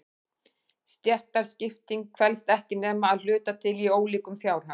Stéttaskiptingin felst ekki nema að hluta til í ólíkum fjárhag.